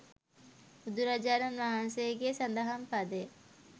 බුදුරජාණන් වහන්සේගේ සදහම් පදය